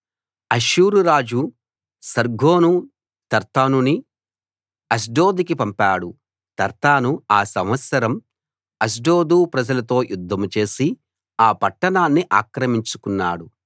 అష్షూరు రాజు సర్గోను తర్తానుని అష్డోదుకి పంపాడు తర్తాను ఆ సంవత్సరం అష్డోదు ప్రజలతో యుద్ధం చేసి ఆ పట్టణాన్ని ఆక్రమించుకున్నాడు